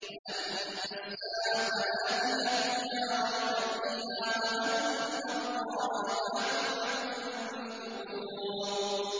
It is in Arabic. وَأَنَّ السَّاعَةَ آتِيَةٌ لَّا رَيْبَ فِيهَا وَأَنَّ اللَّهَ يَبْعَثُ مَن فِي الْقُبُورِ